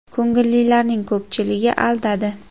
Ko‘ngillilarning ko‘pchiligi aldadi.